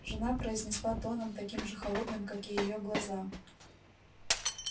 жена произнесла тоном таким же холодным как и её глаза